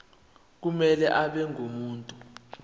kumele abe ngumuntu